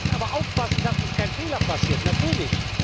Jetzt aber aufpassen, dass uns kein Fehler passiert natürlich.